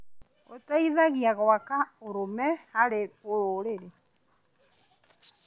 Ũteithagia gwaka ũrũme harĩ rũrĩrĩ.